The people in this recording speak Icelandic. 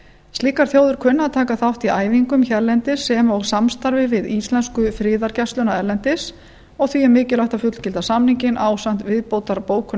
slíkar þjóðir kunna að taka þátt í æfingum hérlendis sem og samstarfi við íslensku friðargæsluna erlendis og því er mikilvægt að fullgilda samninginn ásamt viðbótarbókunum